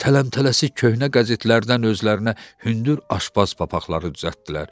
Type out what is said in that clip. Tələmtələsik köhnə qəzetlərdən özlərinə hündür aşbaz papaqları düzəltdilər.